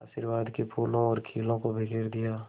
आशीर्वाद के फूलों और खीलों को बिखेर दिया